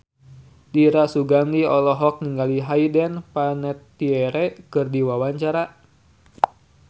Dira Sugandi olohok ningali Hayden Panettiere keur diwawancara